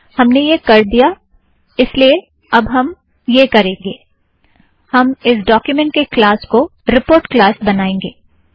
हमने यह कर दिया है इस लिए अब हम यह करेंगे - हम इस ड़ॉक्यूमेंट के क्लास को रीपोर्ट क्लास बनाएंगे